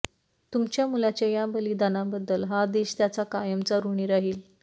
तुमच्या मुलाच्या या बलिदानाबद्दल हा देश त्याचा कायमचा ऋणी राहील